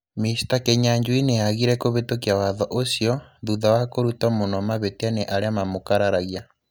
Mr. Kĩnyuanjuĩ nĩ aagire kũvitukia watho ũcio, thutha wa kũrutwo muno mavĩtia nĩ arĩa maamũkararagia.